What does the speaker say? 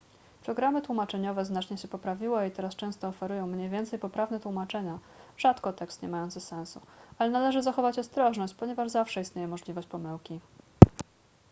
programy tłumaczeniowe znacznie się poprawiły i teraz często oferują mniej więcej poprawne tłumaczenia rzadko tekst nie mający sensu ale należy zachować ostrożność ponieważ zawsze istnieje możliwość pomyłki